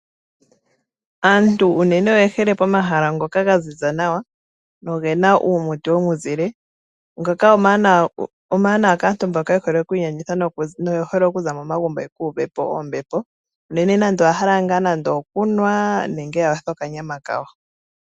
Aantu unene oye hole pomahala ngoka gaziza nawa, nogena uumuti womuzile. Ngoka omawanawa kaantu mba yehole okwiiyenditha noyehole okuza momagumbo yeku uvepo ombepo, unene nande oya hala okunwa nenge ya yothe okanyama kawo.